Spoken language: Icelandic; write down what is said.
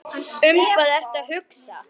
Um hvað ertu að hugsa?